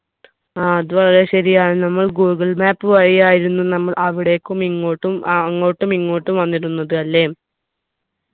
ആ അത് വളരെ ശരിയാണ് നമ്മൾ ഗൂഗിൾ map വഴിയായിരുന്നു നമ്മൾ അവിടേക്കും ഇങ്ങോട്ടും അഹ് അങ്ങോട്ടും ഇങ്ങോട്ടും വന്നിരുന്നത് അല്ലെ